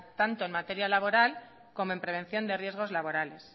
tanto en materia laboral como en prevención de riesgos laborales